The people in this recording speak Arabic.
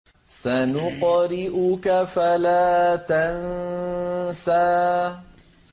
سَنُقْرِئُكَ فَلَا تَنسَىٰ